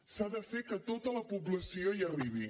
s’ha de fer que tota la població hi arribi